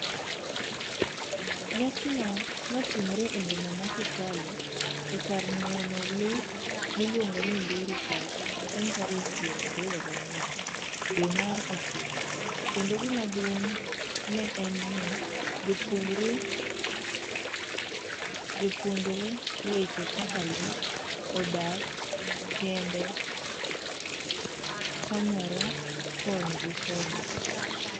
Nyasino notimre eboma ma Kitale ekar neno lee miluongo ni Ndura Park chieng tarik piero ariyo gang'wen dwe mar ochiko kendo gimaduong' ne en ni jopuonjre weche kaka lee odak kende konyre koni gi koni